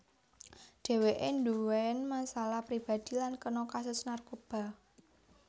Dheweke nduwén masalah pribadi lan kena kasus narkoba